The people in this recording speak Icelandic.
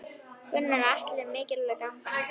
Gunnar Atli: Mikilvæg gangan?